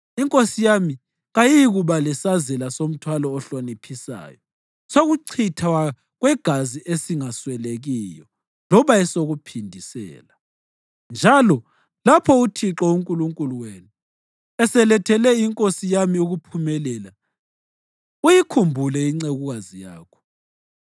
inkosi yami kayiyikuba lesazela somthwalo ohloniphisayo sokuchithwa kwegazi esingaswelekiyo loba esokuphindisela. Njalo lapho uThixo uNkulunkulu wenu eselethele inkosi yami ukuphumelela, uyikhumbule incekukazi yakho.”